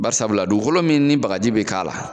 Barisabula dugukolo min ni bagaji bɛ k'a la